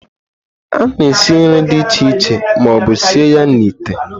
A na-esi nri dị iche iche ma ọ bụ sie ya n'ite.